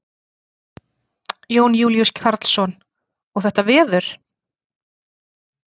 Jón Júlíus Karlsson: Og þetta veður?